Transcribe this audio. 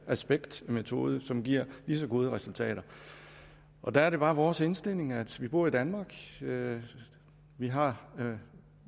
aspektmetode som giver lige så gode resultater der er det bare vores indstilling at vi bor i danmark og at vi har har